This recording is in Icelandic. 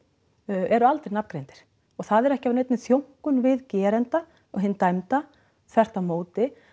eru aldrei nafngreindir og það er ekki af neinni þjónkun við geranda hinn dæmda þvert á móti